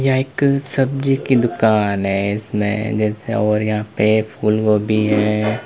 यह एक सब्जी की दुकान है इसमें जैसे और यहां पे फूलगोभी हैं।